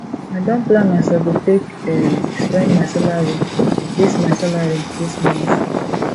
i don plan as i go take um spend my salary dis my salary dis month